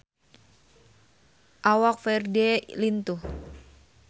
Awak Ferdge lintuh